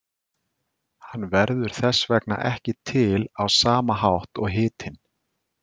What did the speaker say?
Hann verður þess vegna ekki til á sama hátt og hitinn.